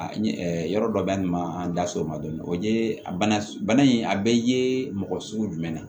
A ye yɔrɔ dɔ da nin ma an da so ma dɔn o ye a bana in a bɛɛ ye mɔgɔ sugu jumɛn ye